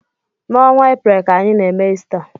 N'ọnwa Eprel ka anyị n'eme Ista.